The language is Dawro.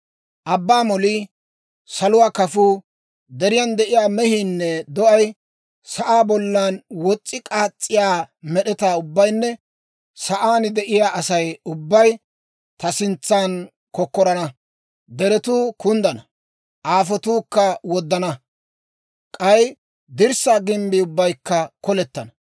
Abbaa molii, saluwaa kafuu, deriyaan de'iyaa mehiinne do'ay, sa'aa bollan wos's'i k'aas's'iyaa med'etaa ubbaynne sa'aan de'iyaa Asay ubbay ta sintsan kokkorana. Deretuu kunddana; aafotuukka woddana; k'ay dirssaa gimbbii ubbaykka kolettenna.